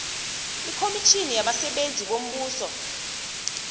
ikomitjhini yabasebenzi bombuso